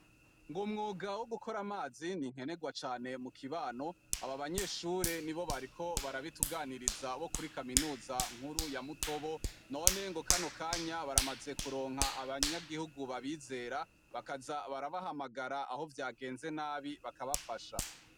Ngo umwuga wo gukora amazi ni inkenegwa cane mukibano aba banyeshure nibo bariko barabituganiriza bo kuri Kaminuza nkuru ya Mutobo none ngo kano akanya baramaze kuronka abanyagihugu babizera bakaza barabahamagara aho vyagenze nabi bakabafasha.